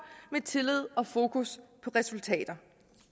med tillid og fokus på resultater